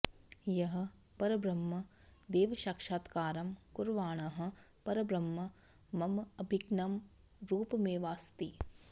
यः परब्रह्म दैवसाक्षात्कारं कुर्वाणः परब्रह्म मम अभिन्नं रूपमेवास्ति